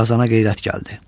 Qazana qeyrət gəldi.